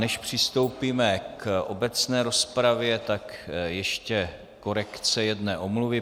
Než přistoupíme k obecné rozpravě, tak ještě korekce jedné omluvy.